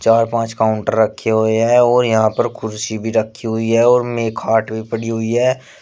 चार पांच काउंटर रखे हुए हैं और यहां पर कुर्सी भी रखी हुई है और में खाट भी पड़ी हुई है।